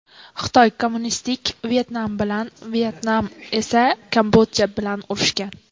Xitoy kommunistik Vyetnam bilan, Vyetnam esa Kambodja bilan urushgan.